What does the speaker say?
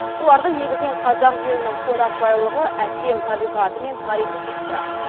оларды негізінен қазақ елінің қонақжайлылығы әсем табиғаты мен тарихы қызықтырады